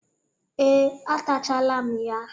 Ee, atachalam ya.